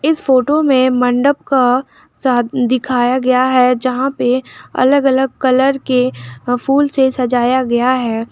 इस फोटो में मंडप का शाद दिखाया गया है जहां पे अलग अलग कलर के फूल से सजाया गया है।